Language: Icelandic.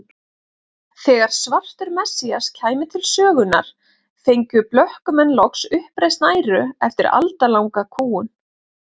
Þegar svartur messías kæmi til sögunnar fengju blökkumenn loks uppreisn æru eftir aldalanga kúgun.